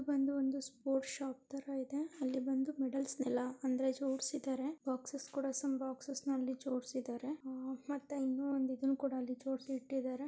ಇದು ಒಂದು sport shop ಆಗಿದೆ ಇಲ್ಲಿ ಮೆಡಲ್ಸ್ ಎಲ್ಲಾ ಜೋಡಿಸಿದ್ದಾರೆ ಮೆಡಲ್ ಸಂ ಬಾಕ್ಸಸ್ ಅಲ್ಲಿ ಜೋಡಿಸಿದ್ದಾರೆ ಮತ್ತೆಇನ್ನುಒಂದು ಇದನ್ನು ಕೂಡ ಅಲ್ಲಿ ಜೋಡಿಸಿಯಿಟ್ಟಿದ್ದಾರೆ.